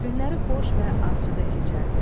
Günləri xoş və asudə keçərdi.